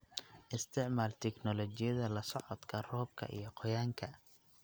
Isticmaal tignoolajiyada la socodka roobka iyo qoyaanka.